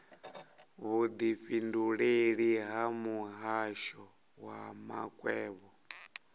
vhudifhinduleleli ha muhasho wa makwevho